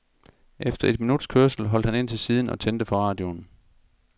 Efter et minuts kørsel holdt han ind til siden og tændte for radioen.